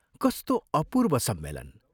कस्तो अपूर्व सम्मेलन!